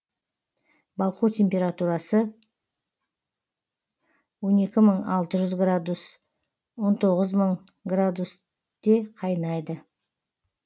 балқу температурасы он екі мың алты жүз градуста он тоғыз мың градус де қайнайды